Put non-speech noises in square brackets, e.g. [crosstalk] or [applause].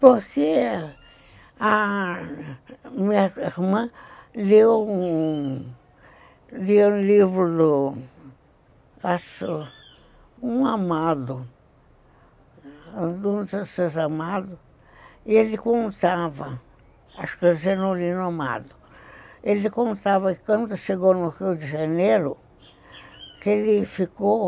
Porque a minha irmã leu leu um livro do, acho, um amado, um dos [unintelligible] amados, e ele contava, acho que é [unintelligible] eu já não li no amado, ele contava que quando chegou no Rio de Janeiro, que ele ficou,